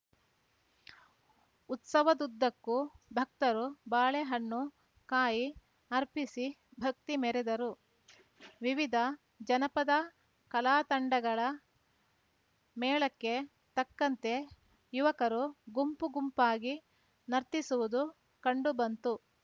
ಉತ್ಸವದುದ್ದಕ್ಕೂ ಭಕ್ತರು ಬಾಳೆ ಹಣ್ಣು ಕಾಯಿ ಅರ್ಪಿಸಿ ಭಕ್ತಿ ಮೆರೆದರು ವಿವಿಧ ಜನಪದ ಕಲಾ ತಂಡಗಳ ಮೇಳಕ್ಕೆ ತಕ್ಕಂತೆ ಯುವಕರು ಗುಂಪು ಗುಂಪಾಗಿ ನರ್ತಿಸುವುದು ಕಂಡು ಬಂತು